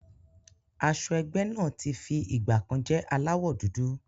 Aṣọ ẹgbẹ́ náà tí fi ìgbàkan jẹ́ aláwọ̀ dúdú.